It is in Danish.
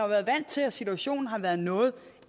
været vant til at situationen har været en noget